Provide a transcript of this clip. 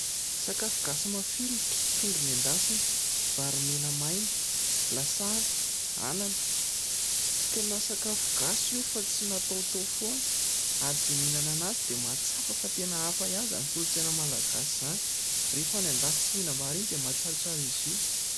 Sakafo gasy mafilotra : trondro nendasina, vary mena maina, lasary, anana. Tena sakafo gasy io fa tsy nataotao foana ary izay mihinana azy dia mahatsapa fa tena hafa ihany izany kolontsaina malagasy izany. Rehefa any andafy tsy mihinam-bary iny dia tena mahatsiarotsiaro azy io.